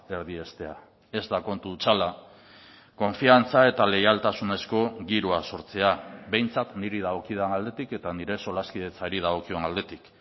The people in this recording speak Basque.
erdiestea ez da kontu hutsala konfiantza eta leialtasunezko giroa sortzea behintzat niri dagokidan aldetik eta nire solaskidetzari dagokion aldetik